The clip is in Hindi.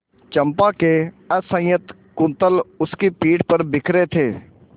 चंपा के असंयत कुंतल उसकी पीठ पर बिखरे थे